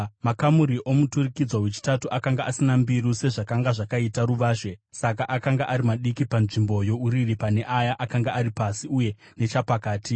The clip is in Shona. Makamuri omuturikidzwa wechitatu akanga asina mbiru, sezvakanga zvakaita ruvazhe; saka akanga ari maduku panzvimbo youriri pane aya akanga ari pasi uye nechapakati.